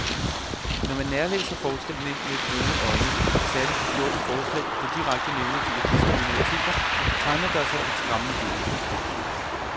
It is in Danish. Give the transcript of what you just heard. Når man nærlæser forslagene med brune øjne, særlig de fjorten forslag, der direkte nævner de etniske minoriteter, tegner der sig et skræmmende billede.